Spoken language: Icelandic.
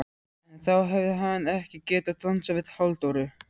En þá hefði hann ekki getað dansað við Halldóru